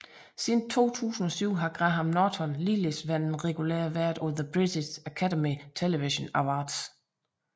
Siden 2007 har Graham Norton ligeledes været en regulær vært på The British Academy Television Awards